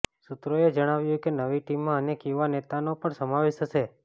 સૂત્રોએ જણાવ્યુ કે નવી ટીમમાં અનેક યુવા નેતાનો પણ સમાવેશ હશે